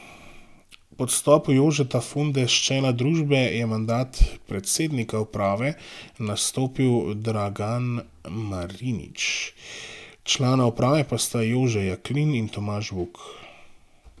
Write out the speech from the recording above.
Po odstopu Jožeta Funde s čela družbe je mandat predsednika uprave nastopil Dragan Marinič, člana uprave pa sta Jože Jaklin in Tomaž Vuk.